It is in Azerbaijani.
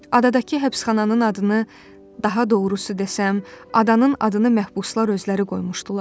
Adadakı həbsxananın adını, daha doğrusu desəm, adanın adını məhbuslar özləri qoymuşdular.